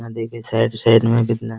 यहाँ देखिये side side मे कितना --